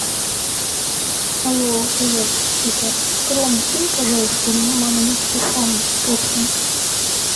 алло привет это ром кинь пожалуйста маме на телефон полтинник